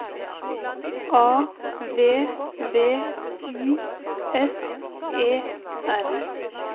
A V V I S E R